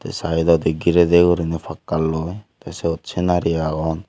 ey saedodi girey dey guriney pakkaloi tey sot senari agon.